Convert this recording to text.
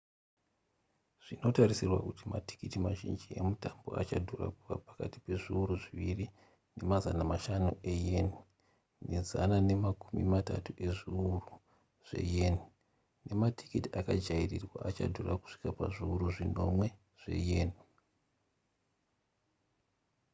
zvinotarisirwa kuti matikiti mazhinji emutambo achadhura kuva pakati pezviuru zviviri nemazana mashanu eyen ne zana nemakumi matatu ezviuru zveyen nematiketi akajairirwa achidhura kusvika kuzviuru zvinomwe zveyen